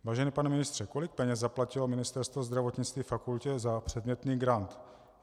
Vážený pane ministře, kolik peněz zaplatilo Ministerstvo zdravotnictví fakultě za předmětný grant?